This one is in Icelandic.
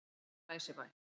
Glæsibæ